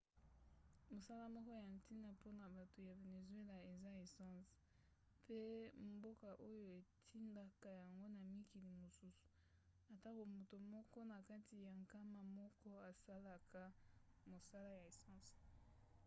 mosala moko ya ntina mpona bato ya venezuela eza essence mpe mboka oyo etindaka yango na mikili mosusu atako moto moko na kati ya nkama moko asalaka mosala ya essence